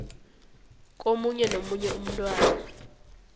komunye nomunye umthwalo